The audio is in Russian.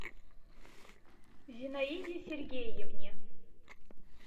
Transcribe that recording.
зинаиде сергеевне